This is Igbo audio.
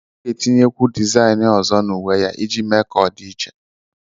Ọ ga-étinyekwu dizáyịnị ọzọ na uwe ya iji mee ka ọ di iche